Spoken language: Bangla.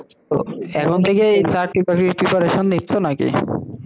এখন থেকেই চাকরি বাকরির preparation নিচ্ছো না কি?